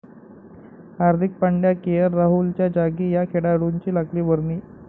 हार्दिक Pandya, KL राहुलच्या जागी या खेळाडूंची लागली वर्णी